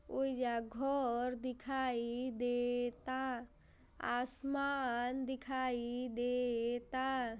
ओहीजा घर दिखाई दे ता। आसमान दिखाई दे ता।